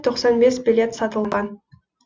тоқсан бес билет сатылған